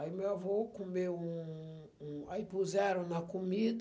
Aí meu avô comeu um um... Aí puseram na comida,